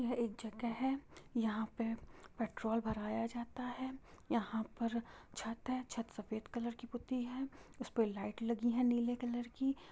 यह एक जगह है यहाँ पे पेट्रोल भराया जाता है यहाँ पर छत है छत सफेद कलर की पुती है उस पे लाइट लगी है नीले कलर की।